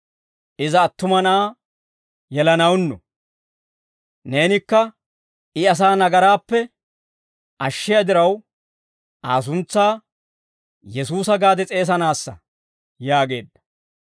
Iza attuma na'aa yelanawunnu; neenikka, I asaa nagaraappe ashshiyaa diraw Aa suntsaa Yesuusa gaade s'eesanaassa» yaageedda.